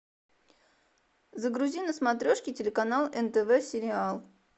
загрузи на смотрешке телеканал нтв сериал